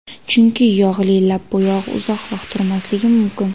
Chunki yog‘li lab bo‘yog‘i uzoq vaqt turmasligi mumkin.